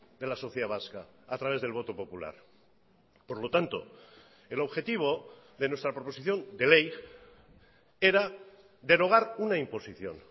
de la sociedad vasca a través del voto popular por lo tanto el objetivo de nuestra proposición de ley era derogar una imposición